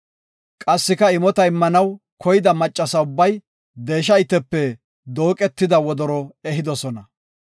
Qassika imota immanaw koyida maccasa ubbay deesha itepe dooqetida wodoro ehidosona.